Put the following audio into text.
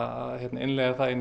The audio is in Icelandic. innleiða það inn í